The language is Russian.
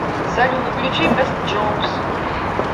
салют включи бэст джоукс